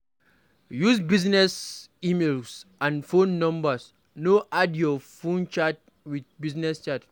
Use business emails and phone numbers, no add your fun chat with business chat